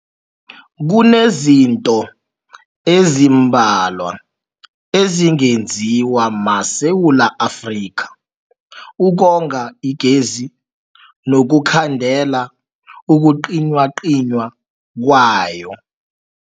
Kunezinto ezimbalwa ezingenziwa maSewula Afrika ukonga igezi nokukhandela ukucinywacinywa kwayo.